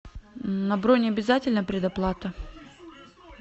на бронь обязательна предоплата